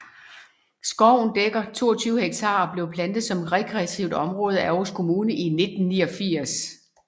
Skoven dækker 22 hektar og blev plantet som rekreativt område af Aarhus Kommune i 1989